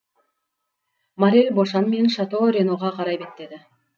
моррель бошан мен шато реноға қарай беттеді